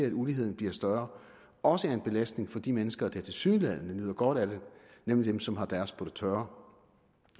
at uligheden bliver større også er en belastning for de mennesker der tilsyneladende nyder godt af det nemlig dem som har deres på det tørre